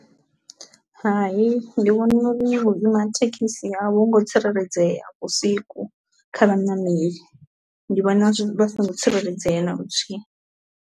Hai ndi vhona uri vhuima thekhisi a vho ngo tsireledzea vhusiku kha vhaṋameli, ndi vhona zwi vha songo tsireledzea na luthihi.